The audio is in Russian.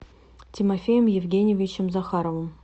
тимофеем евгеньевичем захаровым